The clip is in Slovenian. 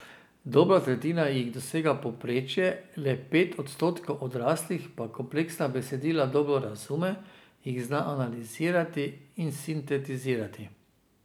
Dobra tretjina jih dosega povprečje, le pet odstotkov odraslih pa kompleksna besedila dobro razume, jih zna analizirati in sintetizirati.